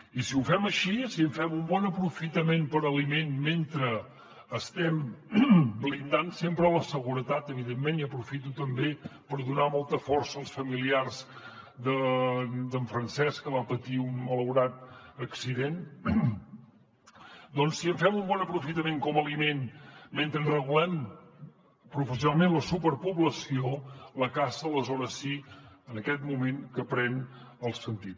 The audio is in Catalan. i si ho fem així si en fem un bon aprofitament per a aliment mentre estem blindant sempre la seguretat evidentment i aprofito també per donar molta força als familiars d’en francesc que va patir un malaurat accident doncs si en fem un bon aprofitament com a aliment mentre en regulem professionalment la superpoblació la caça aleshores sí que en aquest mo·ment pren el sentit